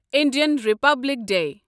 Indian Republic day